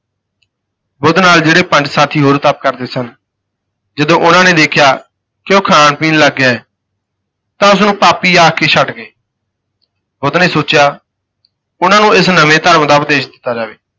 ਬੁੱਧ ਨਾਲ ਜਿਹੜੇ ਪੰਜ ਸਾਥੀ ਹੋਰ ਤਪ ਕਰਦੇ ਸਨ, ਜਦੋਂ ਉਨ੍ਹਾਂ ਨੇ ਦੇਖਿਆ ਕਿ ਉਹ ਖਾਣ ਪੀਣ ਲੱਗ ਗਿਆ ਹੈ ਤਾਂ ਉਸ ਨੂੰ ਪਾਪੀ ਆਖ ਕੇ ਛੱਡ ਗਏ ਬੁੱਧ ਨੇ ਸੋਚਿਆ, ਉਨ੍ਹਾਂ ਨੂੰ ਇਸ ਨਵੇਂ ਧਰਮ ਦਾ ਉਪਦੇਸ਼ ਦਿੱਤਾ ਜਾਵੇ।